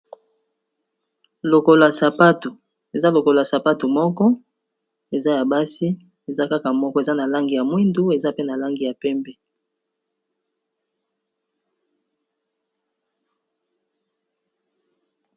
Lokolo ya sapato, eza lokolo ya sapato moko eza ya basi eza kaka moko eza na langi ya mwindu eza pe na langi ya pembe.